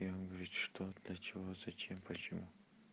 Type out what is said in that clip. и он говорит что для чего зачем почему